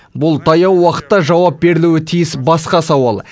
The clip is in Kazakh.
бұл таяу уақытта жауап берілуі тиіс басқа сауал